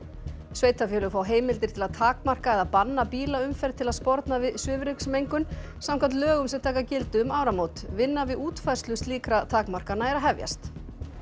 sveitarfélög fá heimildir til að takmarka eða banna bílaumferð til að sporna við svifryksmengun samkvæmt lögum sem taka gildi um áramót vinna við útfærslu slíkra takmarkana er að hefjast